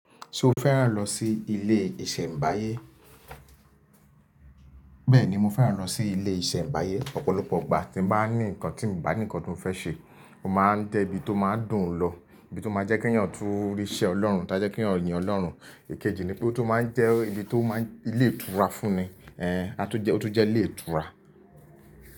Ṣo fẹ́ràn lọ sí ilé ìṣẹ̀mbáyé? Bẹ́ẹ̀ni, mo fẹ́ràn lọ sí ilé ìṣẹ̀mbáyé, ọ̀pọ̀lọpọ̀ igbà tí mo bá ní nǹkan tí mo bá ní nǹkan ti mo fẹ́ ṣe, o máa ń jẹ́ ibi tó máa ń dùn ún lọ, ibi tó máa ń jẹ́ kí èèyàn tún rí iṣẹ́ Ọlọ́run tá jẹ́ kí eyan yín Ọlọ́run. Ikejì ni pé ó tun máa ń jẹ́ ibi tó máa ń, ilé ìtura fún ni. Ẹ́n, a tun jẹ́ ó tún jẹ́ ilé ìtura.